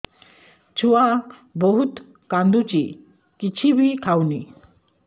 ଛୁଆ ବହୁତ୍ କାନ୍ଦୁଚି କିଛିବି ଖାଉନି